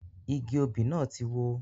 Igi òbí náà tí wó